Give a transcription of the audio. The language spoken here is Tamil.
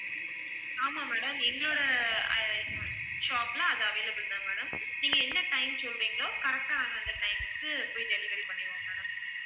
ஆமாம் madam எங்களோட ஆஹ் shop ல அது available தான் madam நீங்க என்ன time சொல்றீங்களோ correct ஆ அந்தந்த time க்கு போய் delivery பண்ணிடுவோம் madam